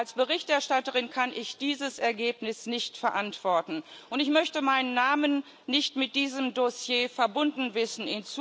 Als Berichterstatterin kann ich dieses Ergebnis nicht verantworten, und ich möchte meinen Namen in Zukunft nicht mit diesem Dossier verbunden wissen.